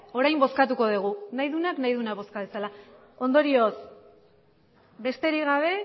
orain bozkatuko dugu nahi duenak nahi duena bozka dezala ondorioz besterik gabe